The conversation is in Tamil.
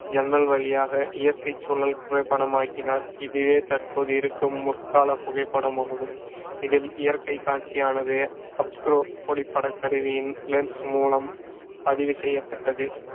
ஜன்னல் வழியாக இயற்கைச் சூழல் புகைப்படமாக்கினார். இதுவே தற்போது இருக்கும் முற்கால புகைப்படம் ஆகும். இதில் இயற்கைக் காட்சியானது அப்ஸ்குறோ ஒளிப்படக் கருவியின் லென்ஸ் மூலம் பதிவு செய்யப்பட்டது